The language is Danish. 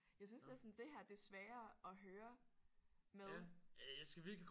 Jeg synes næsten det her det er sværere at høre med